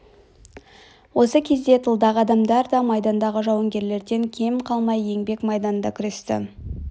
осы кезде тылдағы адамдар да майдандағы жауынгерлерден кем қалмай еңбек майданында күресті